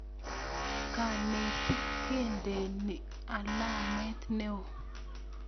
kanetik kendeni alamet neoo